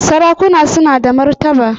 Sarakuna suna da martaba